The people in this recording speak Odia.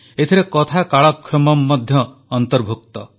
ଏଥିରେ କଥାକାଳକ୍ଷେୱମ୍ ମଧ୍ୟ ଅନ୍ତର୍ଭୁକ୍ତ